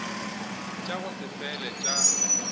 tša go se fele tša